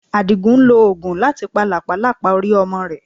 Àdìgún ń lo oògùn láti pa làpálàpá orí ọmọ rẹ̀.